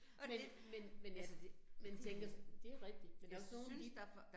Men, men, men ja man tænker det rigtigt, men der også nogen, de